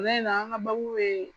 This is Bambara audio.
an ka bɛ